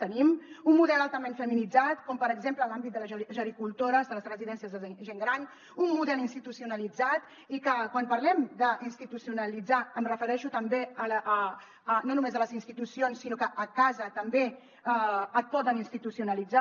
tenim un model altament feminitzat com per exemple en l’àmbit de les gericultores de les residències de gent gran un model institucionalitzat i que quan parlem d’institucionalitzar em refereixo també no només a les institucions sinó que a casa també et poden institucionalitzar